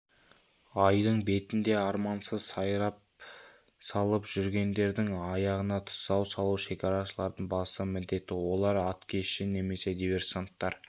айдын бетінде армансыз сайран салып жүргендердің аяғына тұсау салу шекарашылардың басты міндеті олар аткезші немесе диверсанттар